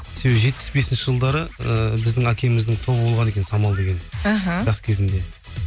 себебі жетпіс бесінші жылдары ыыы біздің әкеміздің тобы болған екен самал деген іхі жас кезінде